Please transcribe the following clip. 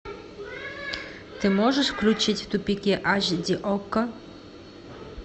ты можешь включить в тупике аш ди окко